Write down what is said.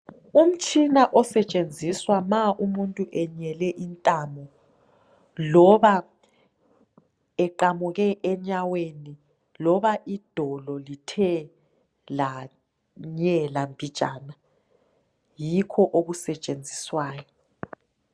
Umtshina osetshenziswa ma umuntu enyele intamo ,loba eqamuke enyaweni loba idolo lithe lanyela mbijana .Yikho okusetshenziswayo.